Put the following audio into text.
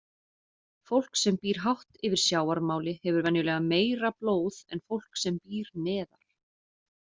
Fólk sem býr hátt yfir sjávarmáli hefur venjulega meira blóð en fólk sem býr neðar.